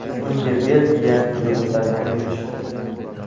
Unga Belgiya klubidan taklif tushdi.